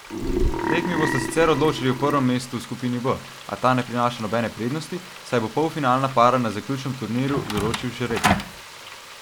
Tekmi bosta sicer odločali o prvem mestu v skupini B, a ta ne prinaša nobene prednosti, saj bo polfinalna para na zaključnem turnirju določil žreb.